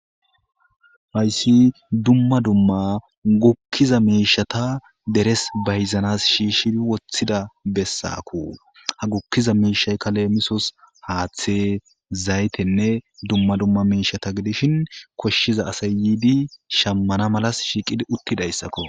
hayssi dumma dumma gukkiza miishata deres bayzanas shiishshi woththida bessakku ha gukkiza miishay kaleemisos haaththe zaytenne dumma dumma miishata gidishin koshshiza asay yiidi shammana malas shiiqi uttidayssakko